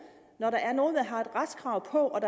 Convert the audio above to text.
når der er nogen der har et retskrav på